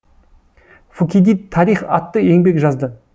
фукидид тарих атты еңбек жазды